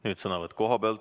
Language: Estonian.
Nüüd sõnavõtt koha pealt.